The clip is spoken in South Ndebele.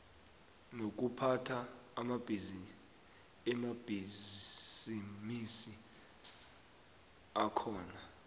nokuphatha amabhisimisi akhona